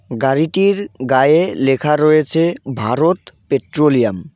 গাড়িটির গায়ে লেখা রয়েছে ভারত পেট্রোলিয়াম .